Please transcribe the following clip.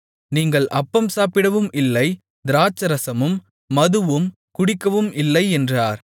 நீங்கள் அப்பம் சாப்பிடவும் இல்லை திராட்சைரசமும் மதுவும் குடிக்கவும் இல்லை என்றார்